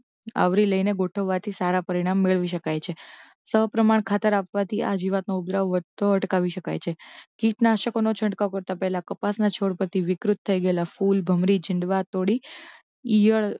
આવરી લઇને ગોઠવવાથી સારાં પરિણામ મેળવી શકાય છે સપ્રમાણ ખાતર આપવાથી આ જીવાતનો ઉપદ્રવ વધતો અટકાવી શકાય છે કીટાનાશકોનો છંટકાવ કરતાં પહેલાં કપાસના છોડ પરથી વિકૃત થઇ ગયેલાં ફૂલ ભમરી છીંડવા તોડી ઇયળ